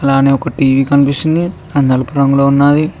లానే ఒక టీ_వీ కనిపిస్తుంది అది నలుపు రంగులో ఉన్నది.